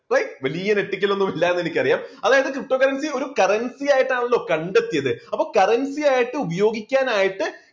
right വലിയ ഒരു ethical ക്കലൊന്നും ഇല്ലായെന്ന് എനിക്കറിയാം അതായത് ptocurrency ഒരു currency ആയിട്ടാണല്ലോ കണ്ടെത്തിയത് അപ്പോൾ currency ആയിട്ട് ഉപയോഗിക്കാൻ ആയിട്ട്